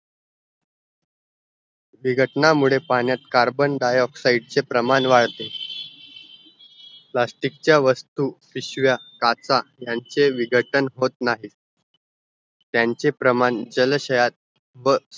विगटण्या मुळे पाण्यात carbondioxide चे प्रमाण वाढते plastic चे वस्तू पिशव्या काचा ह्यांचा विघटने होत नाही त्यांचे प्रमाण जलाशयात व